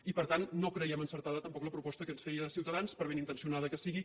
i per tant no creiem encertada tampoc la proposta que ens feia ciutadans per ben intencionada que sigui